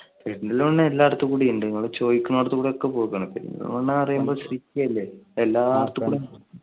പെരുന്തൽമണ്ണ എല്ലാടുത്തുകൂടി ഉണ്ട്, നിങ്ങൾ ചോദിക്കനോടുത്തു കൂടെ എക്കെ പോയേക്കുണു. പെരുന്തൽമണ്ണ city അല്ലെ